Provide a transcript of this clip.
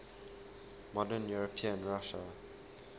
modern european russia